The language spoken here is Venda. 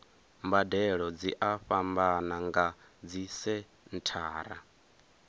mbadelo dzi a fhambana nga dzisenthara